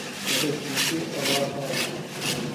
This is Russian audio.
салют включи аллах лас